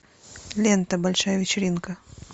лента большая вечеринка